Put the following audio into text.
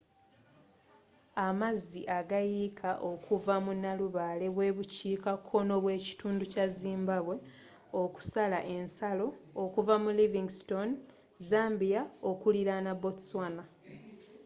amazzi agayiika okuva mu nalubaale bwebukiika konnobw'ekitundu kya zimbabwe okusala ensalo okuva mu livingstone zambia okuliraana botswana